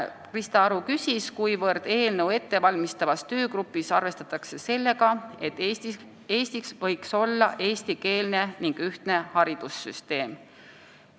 Krista Aru küsis, kui palju eelnõu ettevalmistavas töögrupis arvestatakse sellega, et Eestis võiks olla eestikeelne ning ühtne haridussüsteem.